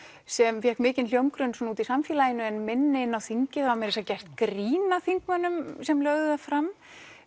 sem fékk mikinn hljómgrunn úti í samfélaginu en minni inni á þingi það var meira að segja gert grín að þingmönnum sem lögðu það fram